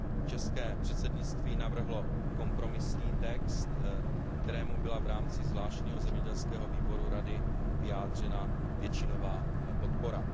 České předsednictví navrhlo kompromisní text, kterému byla v rámci zvláštního zemědělského výboru Rady vyjádřena většinová podpora.